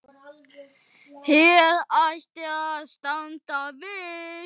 Hér ætti að standa viss.